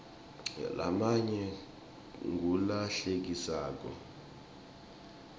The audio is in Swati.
lamanye ngula hlekisako